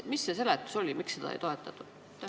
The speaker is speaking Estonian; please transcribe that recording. Mis see seletus oli, miks seda ei toetatud?